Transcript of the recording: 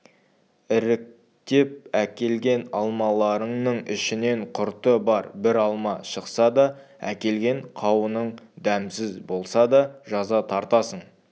іріктеп әкелген алмаларыңның ішінен құрты бар бір алма шықса да әкелген қауының дәмсіз болса да жаза тартасың